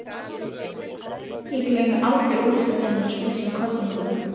Ég gleymi aldrei úrslitunum í þessum kosningum.